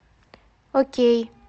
окей